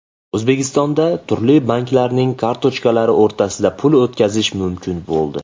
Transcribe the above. O‘zbekistonda turli banklarning kartochkalari o‘rtasida pul o‘tkazish mumkin bo‘ldi .